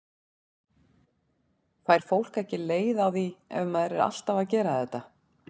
Fær fólk ekki leið á því ef maður er alltaf að gera þetta?